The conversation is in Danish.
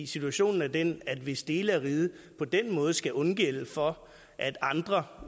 situationen er den at hvis dele af riget på den måde skal undgælde for at andre